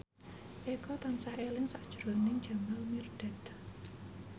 Eko tansah eling sakjroning Jamal Mirdad